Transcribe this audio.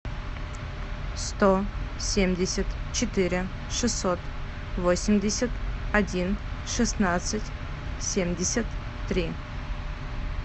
сто семьдесят четыре шестьсот восемьдесят один шестнадцать семьдесят три